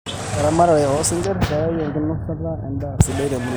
Eramatare oo singir keyau enkinosata endaa sidai tomuruan.